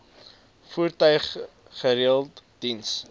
voertuig gereeld diens